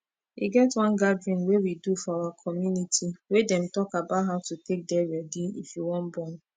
e get one gathering wey we do for our community wey dem talk about how to take dey ready if you wan born